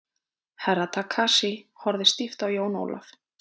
Herra Takashi horfði stíft á Jón Ólaf.